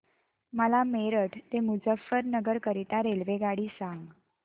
मला मेरठ ते मुजफ्फरनगर करीता रेल्वेगाडी सांगा